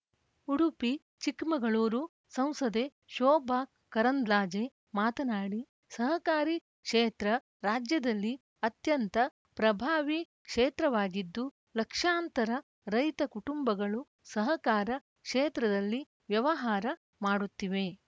ಉಡುಪಿಚಿಕ್ಕಮಗಳೂರು ಸಂಸದೆ ಶೋಭಾ ಕರಂದ್ಲಾಜೆ ಮಾತನಾಡಿ ಸಹಕಾರಿ ಕ್ಷೇತ್ರ ರಾಜ್ಯದಲ್ಲಿ ಅತ್ಯಂತ ಪ್ರಭಾವಿ ಕ್ಷೇತ್ರವಾಗಿದ್ದು ಲಕ್ಷಾಂತರ ರೈತ ಕುಟುಂಬಗಳು ಸಹಕಾರ ಕ್ಷೇತ್ರದಲ್ಲಿ ವ್ಯವಹಾರ ಮಾಡುತ್ತಿವೆ